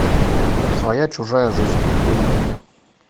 своя чужая жизнь выведи мне